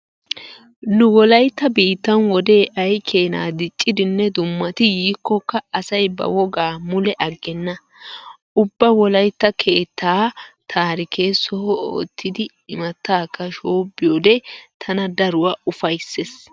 Nu wolaytta biittan wodee ay keenaa diccidinne dummati yiikkokka asay ba wogaa mule aggenna. Ubba wolaytta keettaa taarike soho oottidi imattaakka shoobbiyode tana daruwa ufayssees.